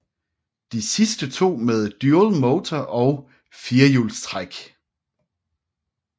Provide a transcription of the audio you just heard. De sidste to med Dual Motor og firehjulstræk